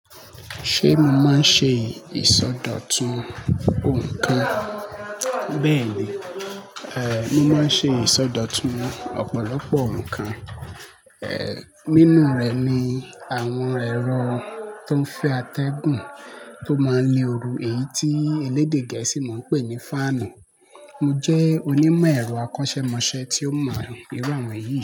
Ṣé mo máa ń ṣe ìsọdọ̀tun ǹkan? Bẹ́ẹ̀ni, eh mo máa ń ṣe ìsọdọ̀tun ọ̀pọ̀lọpọ̀ ǹkan. Eh nínú rẹ̀ ni àwọn ẹ̀rọ tó ń fẹ́ atẹ́gùn tó máa ń le ooru, èyí tí elédè Gẹ̀ẹ́sì máa ń pè ní fáànù. Mo jẹ́ onímọ̀ ẹ̀rọ akọ́ṣẹ́mọṣẹ́ tí ó mọ̀ mọ́ irú àwọn yìí.